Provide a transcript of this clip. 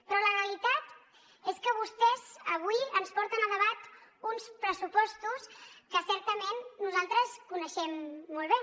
però la realitat és que vostès avui ens porten a debat uns pressupostos que certament nosaltres coneixem molt bé